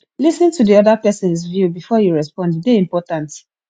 lis ten to the other persons view before you respond e dey important